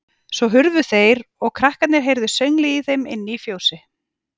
Svo hurfu þeir og krakkarnir heyrðu sönglið í þeim inni í fjósi.